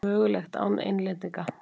Mögulegt án Englendinga?